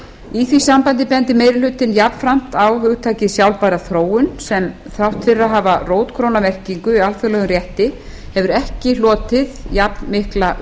í því sambandi bendir meiri hlutinn jafnframt á hugtakið sjálfbæra þróun sem þrátt fyrir að hafa rótgróna merkingu í alþjóðlegum rétti hefur ekki hlotið jafnmikla